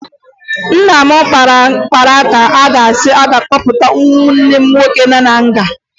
Nna m kpara ka a ga-esi kpọpụta nwanne m nwoke na nga